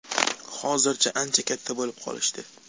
Hozir ancha katta bo‘lib qolishdi.